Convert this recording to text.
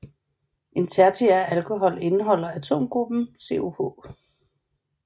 En tertiær alkohol indeholder atomgruppen COH